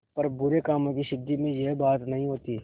पर बुरे कामों की सिद्धि में यह बात नहीं होती